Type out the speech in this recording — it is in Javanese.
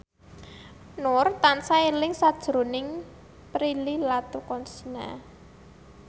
Nur tansah eling sakjroning Prilly Latuconsina